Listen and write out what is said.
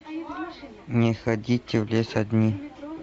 не ходите в лес одни